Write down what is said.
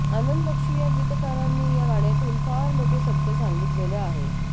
आनंद बक्षी या गीतकारांनी या गाण्यातून फार मोठं सत्य सांगितलेलं आहे